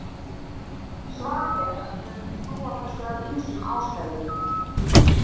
svarið er að við höfum ekki trú á þessu af ýmsum ástæðum